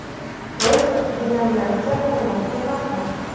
Biz denominatsiya qilmoqchi emasmiz.